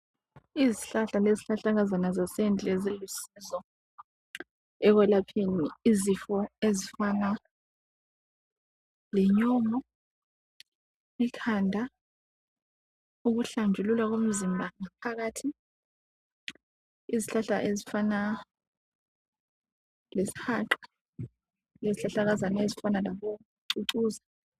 izihlahla lezihlahlakazana zasendle zilusizo ekwelapheni izifo ezifana le nyongo, ikhanda ukuhlanjululwa komzimba ngaphakathi ,izihlahla ezifana lesihaqa lezihlahlakazana ezifana labocucuza